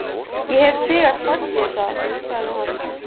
Ég hef þegar sagt þér það, sagði hann.